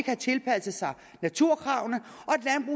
have tilpasset sig naturkravene